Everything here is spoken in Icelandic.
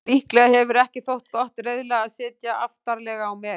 Líklega hefur ekki þótt gott reiðlag að sitja aftarlega á meri.